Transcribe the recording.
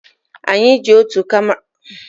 Anyi eji otu karama mmanya were mee emume ekeresimesi gara aga?